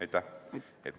Aitäh!